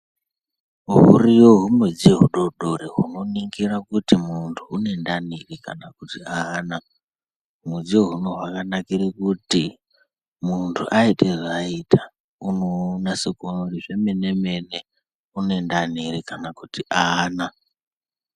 Huriyo humidziyo hudori dori hunoningira kuti muntu une ndani kana kuti haana. Humudziyo ihona hwakanakire kuti muntu aite zvaaita unonase kuona kuti zvemene mene une ndani ere kana kuti haana.